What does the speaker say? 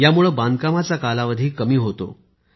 यामुळे बांधकामाचा कालावधी कमी होतो